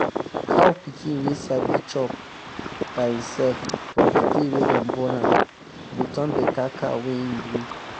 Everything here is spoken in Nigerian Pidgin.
cow pikin wey sabi chop um by em self from the day wey them born am go um turn better cow when em grow.